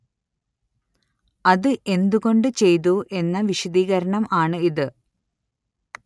അതു എന്തു കൊണ്ട് ചെയ്തു എന്ന വിശദീകരണം ആണ്‌ ഇത്